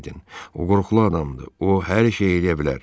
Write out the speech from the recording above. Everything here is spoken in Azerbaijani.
O qorxulu adamdır, o hər şey eləyə bilər.